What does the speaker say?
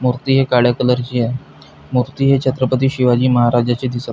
मूर्ती ही काळ्या कलरची आहे मूर्ती ही छत्रपती शिवाजी महाराजाची दिसत--